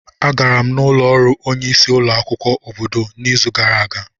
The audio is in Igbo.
Agara m n'ụlọ ọrụ onye isi ulo akwukwo obodo n'izu gara aga.